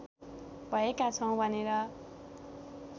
भएका छौँ भनेर